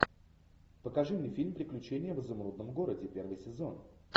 покажи мне фильм приключения в изумрудном городе первый сезон